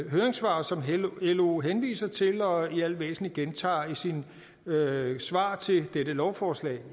høringssvar som lo henviser til og i alt væsentligt gentager i sit høringssvar til dette lovforslag